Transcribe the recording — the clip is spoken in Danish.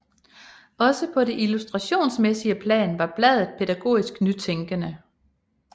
Også på det illustrationsmæssige plan var bladet pædagogisk nytænkende